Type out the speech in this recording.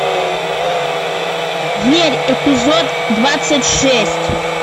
верь эпизод двадцать шесть